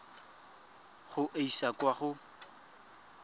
go e isa kwa go